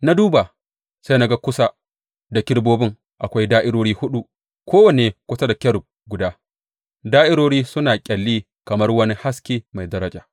Na duba, sai na ga kusa da kerubobin akwai da’irori huɗu, kowanne kusa da kerub guda; da’irorin suna ƙyalli kamar wani dutse mai daraja.